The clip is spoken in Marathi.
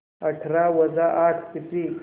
अठरा वजा आठ किती